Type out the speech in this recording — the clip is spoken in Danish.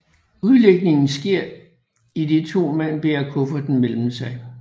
Udlægningen sker idet to mand bærer kufferten imellem sig